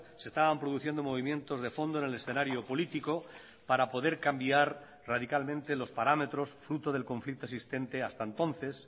se estaban produciendo movimientos de fondo en el escenario político para poder cambiar radicalmente los parámetros fruto del conflicto existente hasta entonces